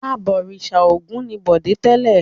Abọ̀rìṣà Ògún ni Bọ̀dé tẹ́lẹ̀.